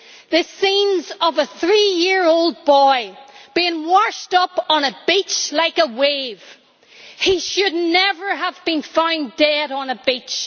The scenes of a 3 year old boy, washed up on a beach like a wave he should never have been found dead on a beach.